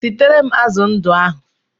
Siere m azụ ndụ ahụ!